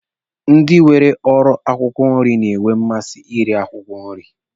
Ndi nwere ọrụ akwụkwọ nri na-enwe mmasị na ire akwụkwọ nri.